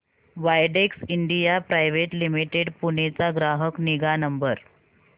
Widex India private limited Pune चा ग्राहक निगा नंबर